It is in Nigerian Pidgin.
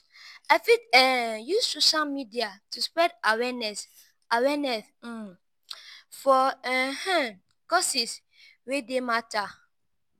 i fit um use social media to spread awareness awareness um for um causes wey dey matter.